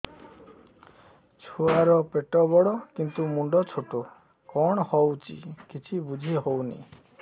ଛୁଆର ପେଟବଡ଼ କିନ୍ତୁ ମୁଣ୍ଡ ଛୋଟ କଣ ହଉଚି କିଛି ଵୁଝିହୋଉନି